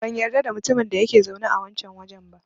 Ban yarda da mutumin da yake zaune a wancan wajen ba.